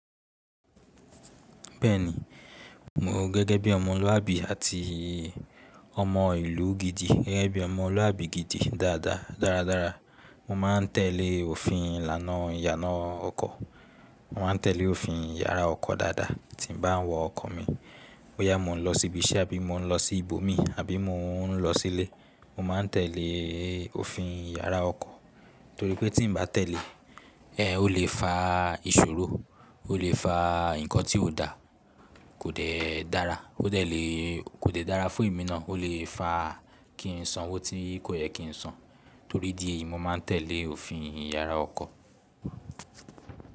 Bẹ́ẹ̀ni, mo gẹ́gẹ́ bí ọmọlúwàbí àti ọmọ ìlú gidi gẹ́gẹ́ bí ọmọlúwàbí gidi dáadáa dáradára. Mo máa ń tẹ̀lé òfin ìlànà ìyànà ọkọ̀. Mo máa ń tẹ̀lé òfin ìyára ọkọ̀ dáadáa tí n bá ń wa ọkọ̀ mi. Bóyá mo ń lọ síbi iṣẹ́ àbí mo ń lọ sí ibo mi àbí mo ń lọ sílé, mo máa tẹ̀lé òfin ìyára ọkọ̀ torí pé tí n ba tẹ̀lé, ẹ n ó lè fa ìṣòro, ó lè fa nǹkan tí kò dá, kò dẹ dára, ó dẹ lè kò dẹ dára fún èmí nàa, ó lè fa kí n san owó tí kò yẹ kí n san. Torí ìdí èyí, mo máa ń tẹ̀lé òfin ìyára ọkọ̀